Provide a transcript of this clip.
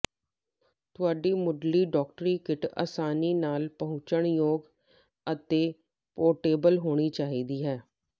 ਤੁਹਾਡੀ ਮੁਢਲੀ ਡਾਕਟਰੀ ਕਿੱਟ ਆਸਾਨੀ ਨਾਲ ਪਹੁੰਚਯੋਗ ਅਤੇ ਪੋਰਟੇਬਲ ਹੋਣੀ ਚਾਹੀਦੀ ਹੈ